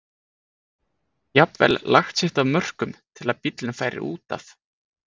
jafnvel lagt sitt af mörkum til að bíllinn færi út af.